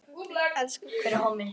Elsku kallinn minn.